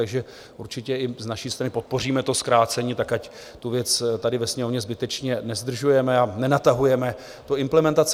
Takže určitě i z naší strany pokoříme to zkrácení tak, ať tu věc tady ve Sněmovně zbytečně nezdržujeme a nenatahujeme tu implementaci.